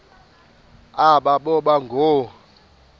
aba boba ngoo